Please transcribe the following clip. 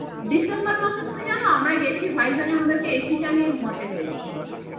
December মাসে তুমি জানো আমরাই গেছি vijack আমাদেরকে AC চালিয়ে ঘুমাতে হয়েছে